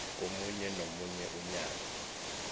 komunye nomunye unyaka